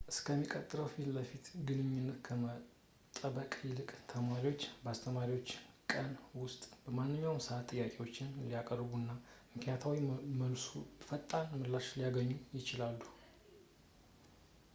እስከሚቀጥለው ፊትለፊት ግንኙነት ከመጠበቅ ይልቅ ተማሪዎች ለአስተማሪዎች በቀን ውስጥ በማንኛውም ሰዓት ጥያቄዎችን ሊያቀርቡ እና በምክንያታዊ መልኩ ፈጣን ምላሾችን ሊያገኙም ይችላሉ